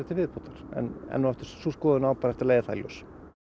til viðbótar en enn og aftur sú skoðun á bara eftir að leiða það í ljós